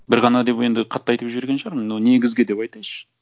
бір ғана деп енді қатты айтып жіберген шығармын но негізгі деп айтайыншы